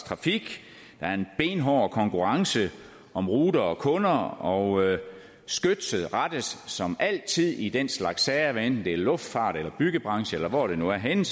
der er en benhård konkurrence om ruter og kunder og skytset rettes som altid i den slags sager hvad enten det er luftfarten eller byggebranchen eller hvor det nu er henne